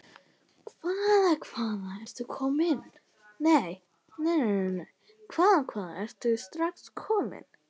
Hvaða, hvaða, ertu strax kominn?